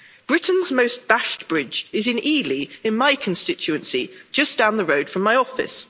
Britain's most bashed bridge is in Ely, in my constituency, just down the road from my office.